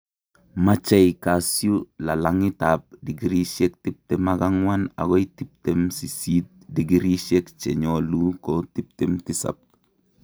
machei kasyu lalang'itap digrisiek tiptem ak ang'wan agoi tiptem sisiit, digrisiek che nyolu ko tiptem tisap.